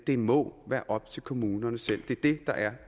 det må være op til kommunerne selv det er det der er